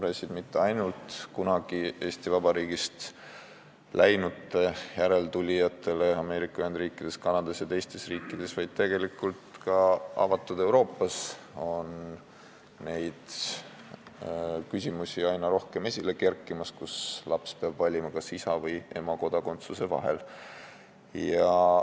Ja seda mitte ainult kunagi Eesti Vabariigist läinute järeltulijatele Ameerika Ühendriikides, Kanadas ja teistes riikides, ka avatud Euroopas kerkib neid küsimusi aina rohkem esile, kui laps peab valima isa ja ema kodakondsuse vahel.